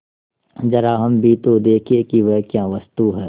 जरा हम भी तो देखें कि वह क्या वस्तु है